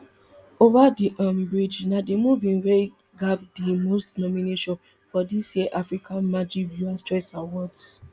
over the um bridge na di movine wey gbab di most nomination for dis year africa magic viewers choice awards